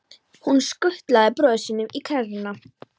Hann skutlaði bróður sínum í kerruna.